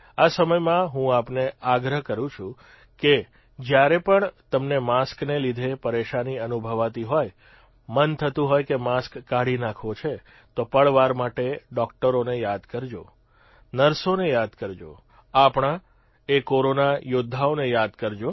આ સમયમાં હું આપને આગ્રહ કરૂં છું કે જયારે પણ તમને માસ્કને લીધે પરેશાની અનુભવાતી હોય મન થતું હોય કે માસ્ક કાઢી નાંખવો છે તો પળવાર માટે ડોકટરોને યાદ કરજો કે નર્સોને યાદ કરજો આપણાએ કોરોના યોદ્ધાઓને યાદ કરજો